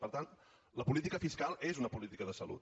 per tant la política fiscal és una política de salut